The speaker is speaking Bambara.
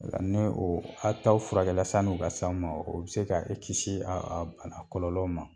Nga ni o a taw furakɛla san'u ka s'aw ma o be se e kisi a a kɔlɔlɔw ma